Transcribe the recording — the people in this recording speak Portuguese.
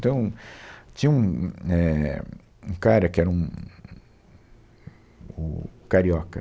Então, tinha um, é, um cara que era um, o carioca.